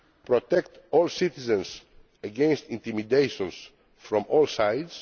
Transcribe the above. protect all citizens against intimidation from all sides